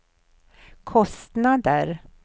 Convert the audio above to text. kostnader